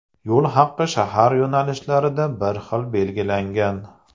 Yo‘l haqi shahar yo‘nalishlarida bir xil belgilangan.